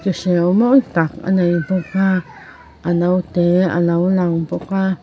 ki hreu mawi tak a nei bawk a a note alo lang bawk a.